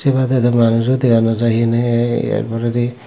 ah yot dow manujo dega nojai hehonne ee yar poredi.